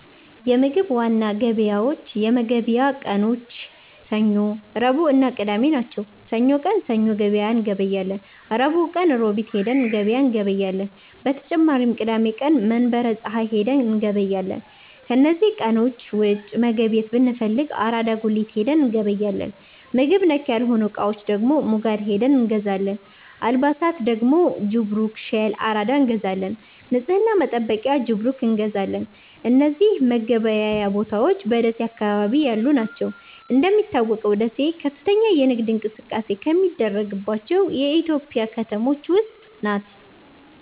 የምግብ ዋና ገበያዎች የመገብያ ቀኖች ሰኞ፣ ረቡዕእና ቅዳሜ ናቸው። ሰኞ ቀን ሰኞ ገበያ እንገበያለን። ረቡዕ ቀን ሮቢት ሂደን ገበያ እንገበያለን። በተጨማሪም ቅዳሜ ቀን መንበረ ፀሀይ ሂደን እንገበያለን። ከነዚህ ቀኖች ውጪ መገብየት ብንፈልግ አራዳ ጉሊት ሂደን እንገበያለን። ምግብ ነክ ያልሆኑ እቃዎች ደግሞ ሙጋድ ሂደን እንገዛለን። አልባሣት ደግሞ ጅብሩክ፣ ሸል፣ አራዳ እንገዛለን። ንፅህና መጠበቂያ ጅብሩክ እንገዛለን። እነዚህ መገበያያ ቦታዎች በደሴ አካባቢ ያሉ ናቸው። እንደሚታወቀው ደሴ ከፍተኛ የንግድ እንቅስቃሴ ከሚደረግባቸው የኢትዮጵያ ከተሞች ውስጥ ናት።